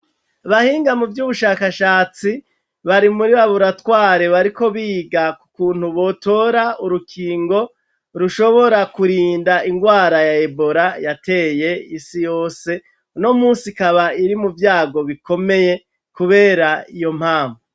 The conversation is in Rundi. Abahinga mu vy'ubushakashatsi bari muri bari muti raburatware bariko biga kukuntu botora urukingo rushobora kurinda ingwara ya ebora yateye isi yose no umunsi ikaba iri mu vyago bikomeye kubera iyo mpamvu.